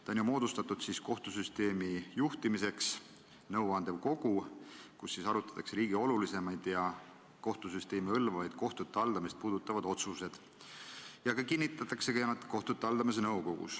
See on moodustatud kohtusüsteemi juhtimiseks, see on nõuandev kogu, kus arutatakse riigi olulisemaid ja kohtusüsteemi hõlmavaid, kohtute haldamist puudutavad otsuseid ja seal need ka kinnitatakse.